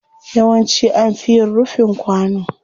Yawanci an fi yin rufin kwano.